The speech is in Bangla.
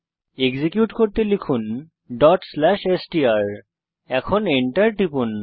এক্সিকিউট করতে লিখুন ডট স্লাশ এসটিআর এখন Enter টিপুন